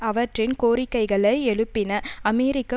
அவற்றின் கோரிக்கைகளை எழுப்பின அமெரிக்கா